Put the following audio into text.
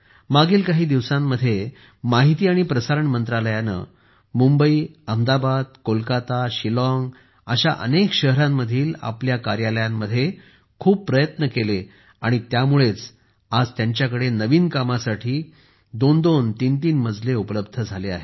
मागील काही दिवसांमध्ये माहिती आणि प्रसारण मंत्रालयाने मुंबई अहमदाबाद कोलकाता शिलॉंग अशा अनेक शहरांमधील आपल्या कार्यालयांमध्ये खूप प्रयत्न केले आणि त्यामुळेच आज त्यांच्याकडे नवीन कामासाठी दोन तीन मजले उपलब्ध झाले आहेत